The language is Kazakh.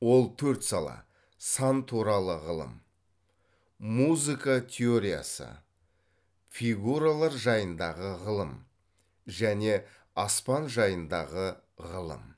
ол төрт сала сан туралы ғылым музыка теориясы фигуралар жайындағы ғылым және аспан жайындағы ғылым